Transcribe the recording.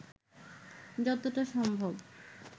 যতটা সম্ভব